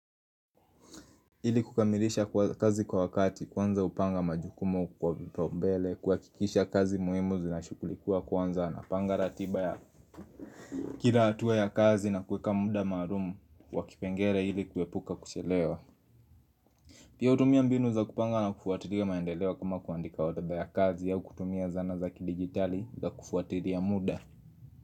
Ili kukamilisha kazi kwa wakati kwanza hupanga majukumo kwa vipo mbele kuhakikisha kazi muhimu zinashughulikiwa kwanza, napanga ratiba ya kila hatua ya kazi na kuweka muda maalum wa kipengele ili kuepuka kuchelewa Pia hutumia mbinu za kupanga na kufuatilia maendeleo kama kuandika orodha ya kazi au kutumia zana za kidigitali za kufuatilia muda.